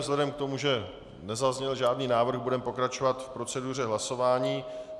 Vzhledem k tomu, že nezazněl žádný návrh, budeme pokračovat v proceduře hlasování.